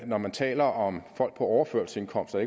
når man taler om folk på overførselsindkomst og